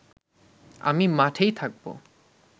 আমি মাঠেই থাকব